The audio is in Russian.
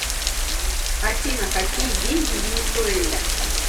афина какие деньги в венесуэле